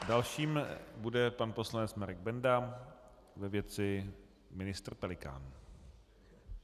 Dalším bude pan poslanec Marek Benda ve věci ministr Pelikán.